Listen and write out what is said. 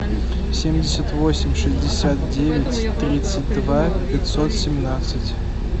семьдесят восемь шестьдесят девять тридцать два пятьсот семнадцать